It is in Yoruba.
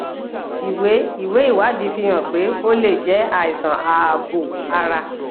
ìwé ìwé ìwádìí fi hàn pé ó lè jẹ àìsàn ààbò ara